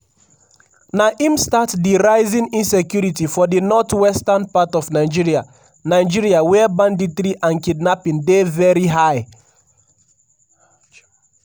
na im start di rising insecurity for di north-western part of nigeria nigeria wia banditry and kidnapping dey veri high.